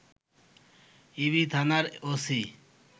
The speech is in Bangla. ইবি থানার ওসি